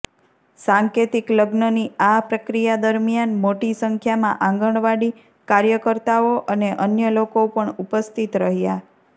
સાંકેતિક લગ્નની આ પ્રક્રિયા દરમિયાન મોટી સંખ્યામાં આંગણવાડી કાર્યકર્તાઓ અને અન્ય લોકો પણ ઉપસ્થિત રહ્યા